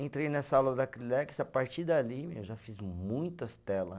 Entrei nessa aula da Acrilex, a partir dali eu já fiz muitas tela.